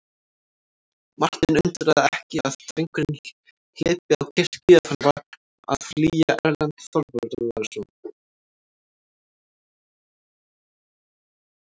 Martein undraði ekki að drengurinn hlypi á kirkju ef hann var að flýja Erlend Þorvarðarson.